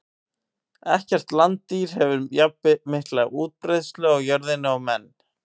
Ekkert landdýr hefur jafnmikla útbreiðslu á jörðinni og menn.